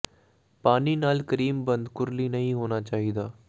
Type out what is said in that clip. ਪਾਣੀ ਨਾਲ ਕਰੀਮ ਬੰਦ ਕੁਰਲੀ ਨਹੀ ਹੋਣਾ ਚਾਹੀਦਾ ਹੈ